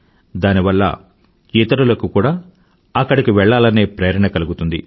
దాని వల్ల ఇతరులకి కూడా అక్కడకు వెళ్ళలనే ప్రేరణ కలుగుతుంది